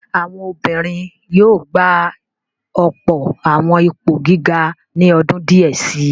Àwọn obìnrin yóò gba ọ̀pọ̀ àwọn ipò gíga ní ọdún díẹ̀ si.